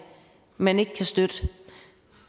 man ikke kan støtte